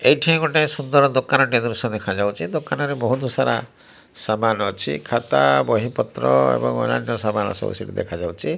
ଏଇଠି ଗୋଟେ ସୁନ୍ଦର ଦୋକାନ ଟିଏ ଦୃଶ୍ୟ ଦେଖାଯାଉଚି। ଦୋକାନରେ ବୋହୁତ୍ ସାରା ସାମାନ୍ ଅଛି। ଖାତ ବହି ପତ୍ର ଏବଂ ଅନ୍ୟାନ୍ୟ ସାମାନ୍ ସବୁ ସେଠି ଦେଖାଯାଉଚି।